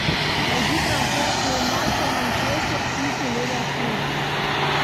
найди трансляцию матча манчестер сити ливерпуль